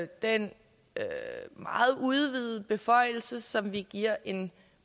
den meget udvidede beføjelse som vi giver en